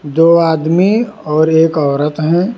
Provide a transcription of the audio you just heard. दो आदमी और एक औरत है।